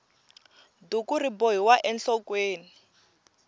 duku ri bohiwa enhlokweni